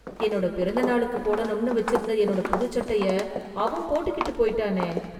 என்னோட பிறந்த நாளுக்கு போடணும்னு வெச்சிருந்த என்னோட புதுச் சட்டையை அவன் போட்டுகிட்டு போய்ட்டானே...